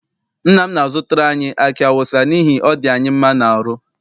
Nna m na-azụtara anyi aki awụsa n'ihi ọ dị anyị mma n'aru.